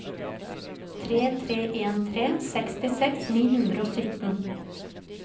tre tre en tre sekstiseks ni hundre og sytten